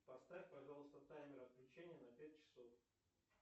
поставь пожалуйста таймер отключения на пять часов